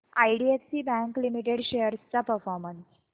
IDFC bank limited shares चा performance